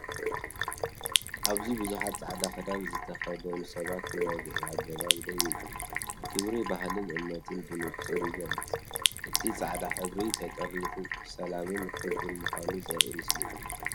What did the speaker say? ኣብዚ ብዙሓት ጻዕዳ ክዳን ዝተከደኑ ሰባት ብወግዓዊ ኣገባብ ደው ይብሉ፣ ክብሪ ባህልን እምነትን ብንጹር ይግለጽ። እቲ ጻዕዳ ሕብሪ፡ ተጠርኒፉ፡ ብሰላምን ክብርን ምኳኑ ዘርኢ ምስሊ እዩ።